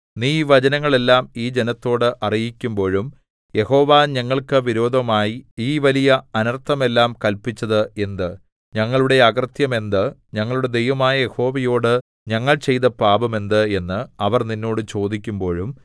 നീ ഈ വചനങ്ങളെല്ലാം ഈ ജനത്തോട് അറിയിക്കുമ്പോഴും യഹോവ ഞങ്ങൾക്കു വിരോധമായി ഈ വലിയ അനർത്ഥം എല്ലാം കല്പിച്ചത് എന്ത് ഞങ്ങളുടെ അകൃത്യം എന്ത് ഞങ്ങളുടെ ദൈവമായ യഹോവയോടു ഞങ്ങൾ ചെയ്ത പാപം എന്ത് എന്ന് അവർ നിന്നോട് ചോദിക്കുമ്പോഴും